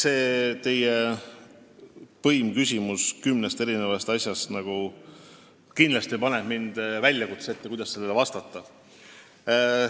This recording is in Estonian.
See teie põimküsimus kümne erineva asja kohta paneb mind kindlasti väljakutse ette, kuidas sellele vastata.